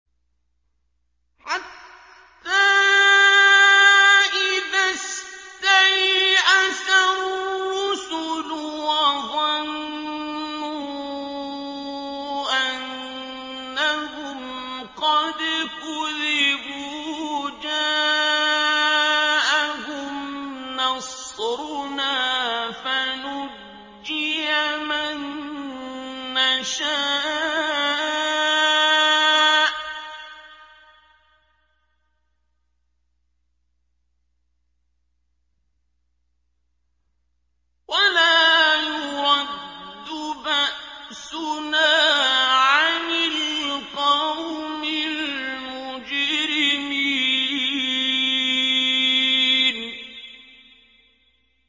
حَتَّىٰ إِذَا اسْتَيْأَسَ الرُّسُلُ وَظَنُّوا أَنَّهُمْ قَدْ كُذِبُوا جَاءَهُمْ نَصْرُنَا فَنُجِّيَ مَن نَّشَاءُ ۖ وَلَا يُرَدُّ بَأْسُنَا عَنِ الْقَوْمِ الْمُجْرِمِينَ